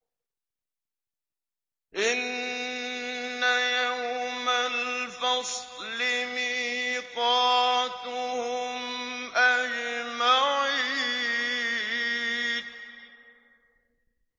إِنَّ يَوْمَ الْفَصْلِ مِيقَاتُهُمْ أَجْمَعِينَ